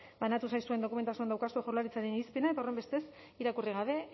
banatu zaizuen dokumentazioan daukazue jaurlaritzaren irizpidea eta horrenbestez irakurri gabe